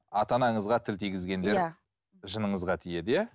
ата анаңызға тіл тигізгендер иә жыныңызға тиеді иә